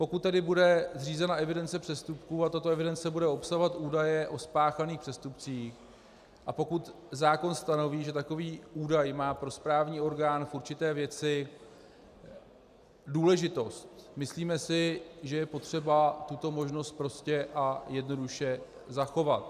Pokud tedy bude zřízena evidence přestupků a tato evidence bude obsahovat údaje o spáchaných přestupcích a pokud zákon stanoví, že takový údaj má pro správní orgán v určité věci důležitost, myslíme si, že je potřeba tuto možnost prostě a jednoduše zachovat.